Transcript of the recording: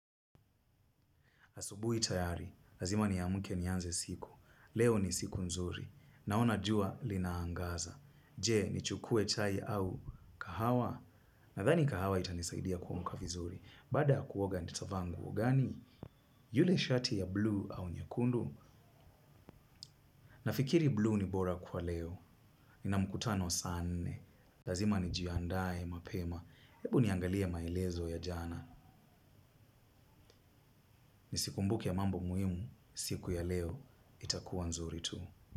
Asubuhi tayari. Lazima niamke nianze siku. Leo ni siku nzuri. Naona jua linaangaza. Je, nichukue chai au kahawa. Nadhani kahawa itanisaidia kuamka vizuri. Baada ya kuoga nitavaa nguo. Gani yule shati ya buluu au nyekundu? Nafikiri buluu ni bora kwa leo. Nina mkutano saa nne. Lazima nijiandae mapema. Hebu niangalie maelezo ya jana. Nisikumbuke mambo muhimu. Siku ya leo itakuwa nzuri tu.